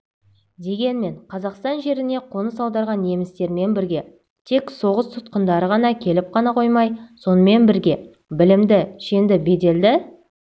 дегенмен қазақстан жеріне қоныс аударған немістермен бірге тек соғыс тұтқындары ғана келіп қоймай сонымен бірге білімді шенді беделді